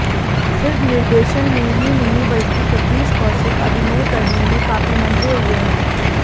सिर्फ निर्देशन में ही नहीं बल्कि सतीश कौशिक अभिनय करने में काफी मंझे हुए हैं